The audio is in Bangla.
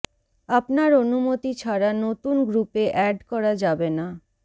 আপনার অনুমতি ছাড়া নতুন গ্রুপে অ্যাড করা যাবে না